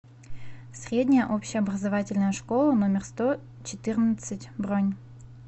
средняя общеобразовательная школа номер сто четырнадцать бронь